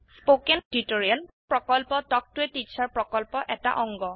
spoken tutorial প্ৰকল্প talk to a teacher প্ৰকল্পৰ এটা অংগ